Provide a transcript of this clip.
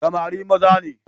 Samari maza ne.